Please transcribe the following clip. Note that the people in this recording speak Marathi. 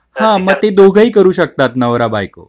तर ती दोघेही करू शकतात नवरा बायको